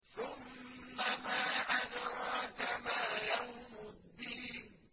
ثُمَّ مَا أَدْرَاكَ مَا يَوْمُ الدِّينِ